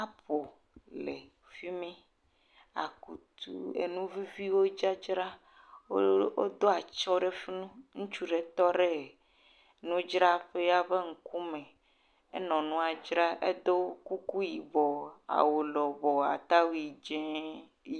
Apple le fi mi, akutu enu viviwe tse dzra, woɖo atsyɔ̃ ɖe fi mi, ŋutsu ɖe tɔ ɖe nudzraƒea ƒe ŋkume enɔ nua dzra edo kuku yibɔ awu lɔbɔɔ atawui dzɛ.